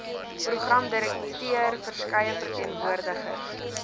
programdirekteur verskeie verteenwoordigers